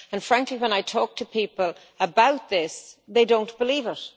Frankly, when I talk to people about this, they don't believe it.